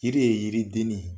Yiri ye yiri den ne